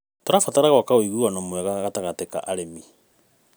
Tũrabatara gwak ũiguano mwega gatagatĩ ka arĩmi.